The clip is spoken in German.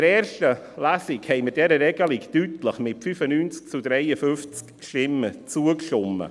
In der ersten Lesung stimmten wir dieser Regelung deutlich, mit 95 zu 53 Stimmen, zu.